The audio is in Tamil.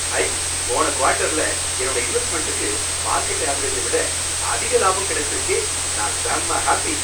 ஐ! போன குவார்ட்டர்ல என்னோட இன்வெஸ்ட்மெண்டுக்கு மார்கெட் ஆவரேஜ விட அதிக லாபம் கிடைச்சிருக்கே! நான் செம்ம ஹாப்பி!